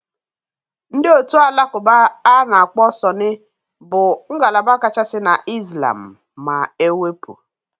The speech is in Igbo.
Ndị otu Alakụba a na-akpọ Sunni bụ ngalaba kachasị na Islam., ma e wep